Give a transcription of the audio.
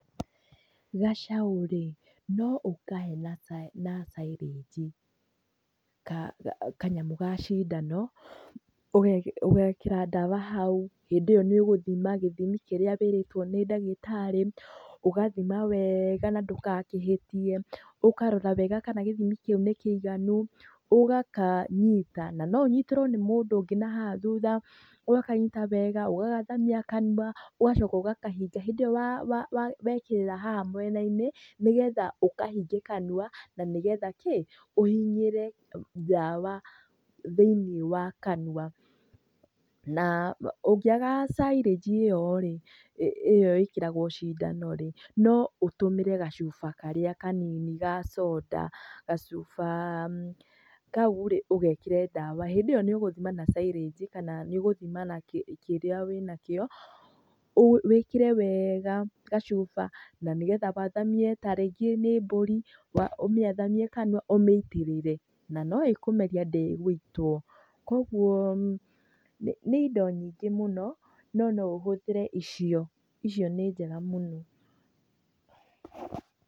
Gacaũ rĩ noũkahe na syringe kanyamũ ga sindano ũgekĩra ndawa hau hĩndĩo nĩũgũthima gĩthimi kĩrĩa wĩrĩtwo nĩ ndagĩtarĩ, ũgathima weega na ndũgakĩhĩtie, ũkarora weega kana gĩthimi kĩu nĩ kĩiganu, ũgakanyita na noũnyitĩrwo nĩ mũndũ ũngĩ nahaha thutha, ũgakanyita wega, ũgakathamia kanyu, ũgacooka ũgakahinga hindĩ ĩyo wekĩrĩra haha mwenainĩ nĩgetha ũkahinge kanyua na nĩgetha kĩ?ũhinyĩre ndawa thĩinĩ wa kanyũa na[uhh]ũngĩaga syringe ĩyo rĩ ,nĩyo ĩkĩragwo sindano rĩ, noũtũmĩre gacuba karĩa kanini ga soda, gacubakau rĩ, ũgekĩre ndawa hĩndĩ ĩyo nĩũgũthima na syringe kananĩũgũthima na kĩrĩa winakĩo, wĩkĩre weega gacuba na nĩgetha wathamie tarĩngĩ nĩ mbũri ,ũmĩathamie kanyua ũmĩitĩrĩre na nĩĩkũmerio ndĩgũitwo kwoguo nĩ indo nyingĩ mũno ndo noũhũthĩre ĩcio, ĩcio nĩ njega mũno .